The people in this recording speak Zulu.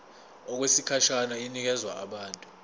okwesikhashana inikezwa abantu